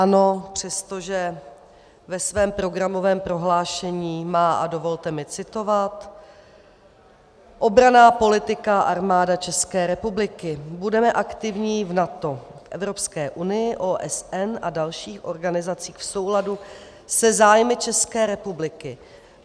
ANO, přestože ve svém programovém prohlášení má, a dovolte mi citovat: Obranná politika Armáda České republiky - budeme aktivní v NATO, Evropské unii, OSN a dalších organizacích v souladu se zájmy České republiky.